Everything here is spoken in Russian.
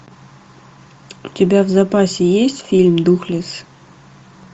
у тебя в запасе есть фильм духлесс